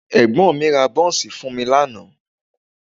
Ẹ̀gbọ́n mi ra bọ́ńsì fún mi lánàá